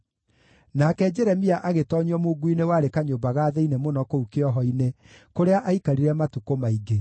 Nake Jeremia agĩtoonyio mungu-inĩ warĩ kanyũmba ga thĩinĩ mũno kũu kĩoho-inĩ, kũrĩa aikarire matukũ maingĩ.